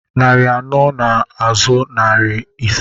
Narị anọ nọ n'azụ narị ise